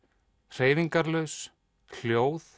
hreyfingarlaus hljóð